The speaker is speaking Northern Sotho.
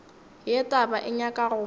ye taba e nyaka go